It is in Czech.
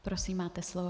Prosím, máte slovo.